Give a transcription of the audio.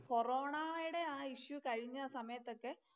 കൊറോണായുടെ ആ ഇത് കഴിഞ്ഞ സമയത്തൊക്കെ